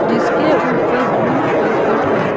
जिसके ऊपर ब्लू करकट है।